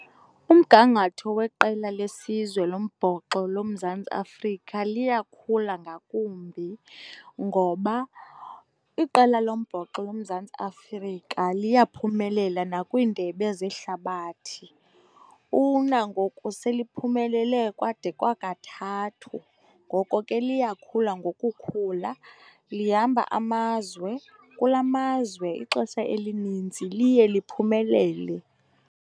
Umgangatho weqela lesizwe lombhoxo loMzantsi Afrika liyakhula ngakumbi ngoba iqela lombhoxo loMzantsi Afrika liyaphumelela nakwiindebe zehlabathi. Unangoku seliphumelele kwade kwakathathu. Ngoko ke liyakhula ngokukhula, lihamba amazwe, kula mazwe ixesha elinintsi liye liphumelele.